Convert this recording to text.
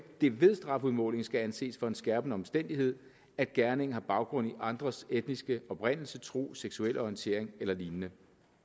det ved strafudmålingen skal anses for en skærpende omstændighed at gerningen har baggrund i andres etniske oprindelse tro seksuelle orientering eller lignende